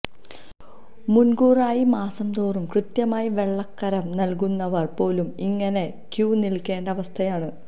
മുന്കൂറായും മാസം തോറും കൃത്യമായി വെള്ളക്കരം നല്കുന്നവര് പോലും ഇങ്ങനെ ക്യൂ നില്ക്കേണ്ട അവസ്ഥയാണ്